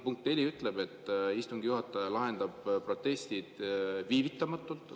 Punkt 4 ütleb, et istungi juhataja lahendab protestid viivitamatult.